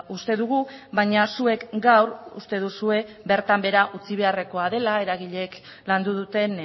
uste dugu baina zuek gaur uste duzue bertan behera utzi beharrekoa dela eragileek landu duten